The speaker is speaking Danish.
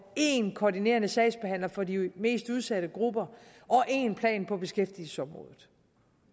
én koordinerende sagsbehandler for de mest udsatte grupper og én plan på beskæftigelsesområdet